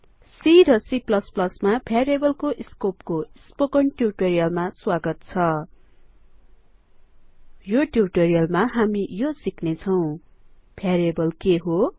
C र C मा भ्यारीएबलको स्कोपको स्पोकन ट्युटोरीअलमा स्वागत छ यो ट्युटोरीअलमा हामी यो सिक्नेछौं भ्यारीएबलको स्कोप के हो